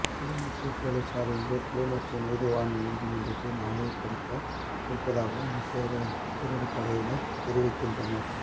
கிளிநொச்சி பொலிஸார் இன்று கிளிநொச்சி நீதவான் நீதிமன்றில் ஆயர்ப்படுத்த இருப்பதாகவும் விசேட அதிரடிப்படையினர் தெரிவிக்கின்றனர்